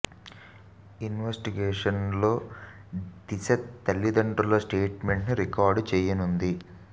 investigation లో దిశ తల్లిదండ్రుల statement ను రికార్డ్ చేయనుంది